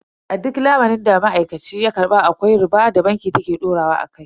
A duk lamunin da ma'aikaci ya karba akwai riba da banki ta ke daurawa akai.